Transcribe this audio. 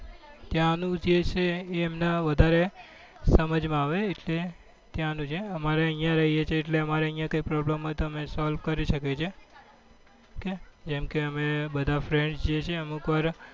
ત્યાં નું જે છે એ એમને વધારે સમજ માં આવે એમેન ત્યાં નું જે અમારે અહિયાં રહીએ છીએ એટલે અમારે અહિયાં કોઈ problem હોય તો અમે solve કરી શકીએ છીએ જેમ કે અમે બધા friends છીએ જે અમુકવાર